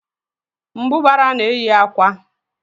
Mbụbara na-eyi akwa